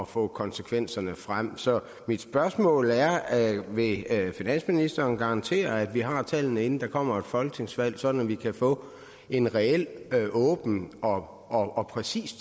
få konsekvenserne frem så mit spørgsmål er vil finansministeren garantere at vi har tallene inden der kommer et folketingsvalg sådan at vi kan få en reel åben og og præcis